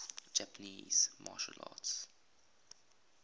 japanese martial arts